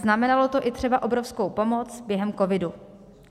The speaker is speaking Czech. Znamenalo to i třeba obrovskou pomoc během covidu.